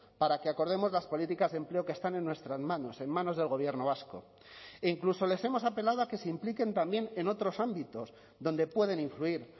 para que acordemos las políticas de empleo que están en nuestras manos en manos del gobierno vasco e incluso les hemos apelado a que se impliquen también en otros ámbitos donde pueden influir